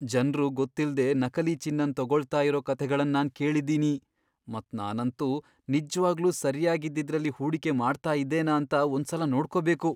ಜನ್ರು ಗೊತ್ತಿಲ್ದೆ ನಕಲಿ ಚಿನ್ನನ್ ತಗೊಳ್ತಾ ಇರೋ ಕಥೆಗಳನ್ ನಾನ್ ಕೇಳಿದ್ದೀನಿ, ಮತ್ ನಾನಂತೂ ನಿಜ್ವಾಗ್ಲೂ ಸರ್ಯಾಗ್ ಇದ್ದಿದ್ರಲ್ಲಿ ಹೂಡಿಕೆ ಮಾಡ್ತಾ ಇದ್ದೇನಾ ಅಂತ ಒಂದ್ ಸಲ ನೋಡ್ಕೋಬೇಕು.